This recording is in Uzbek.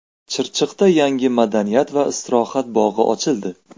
Chirchiqda yangi madaniyat va istirohat bog‘i ochildi.